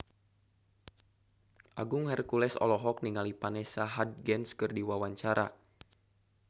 Agung Hercules olohok ningali Vanessa Hudgens keur diwawancara